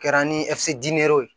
Kɛra ni ye